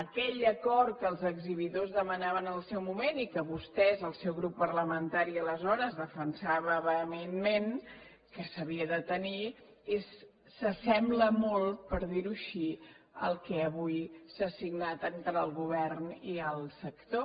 aquell acord que els exhibidors demanaven en el seu moment i que vostès el seu grup parlamentari aleshores defensava vehementment que s’havia de tenir s’assembla molt per dir ho així al que avui s’ha signat entre el govern i el sector